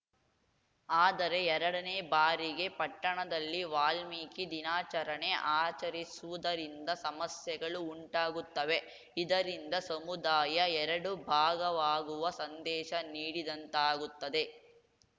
ಆದರೆ ಎರಡನೇ ಬಾರಿಗೆ ಪಟ್ಟಣದಲ್ಲಿ ವಾಲ್ಮೀಕಿ ದಿನಾಚರಣೆ ಆಚರಿಸುವುದರಿಂದ ಸಮಸ್ಯೆಗಳು ಉಂಟಾಗುತ್ತವೆ ಇದರಿಂದ ಸಮುದಾಯ ಎರಡು ಭಾಗವಾಗುವ ಸಂದೇಶ ನೀಡಿದಂತಾಗುತ್ತದೆ